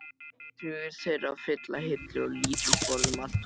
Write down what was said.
Tugir þeirra fylla hillur og lítil borð um allt húsið.